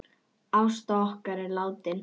Ásta okkar er látin.